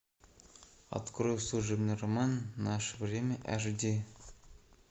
открой служебный роман наше время аш ди